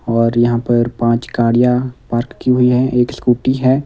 और यहां पर पांच गाड़ियां पार्क की हुई है एक स्कूटी है।